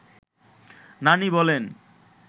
নানি বলেন